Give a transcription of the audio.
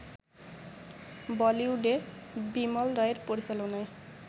বলিউডে বিমল রায়ের পরিচালনায়